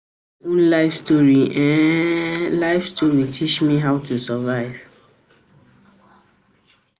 Na my own life story um story um teach me how to survive.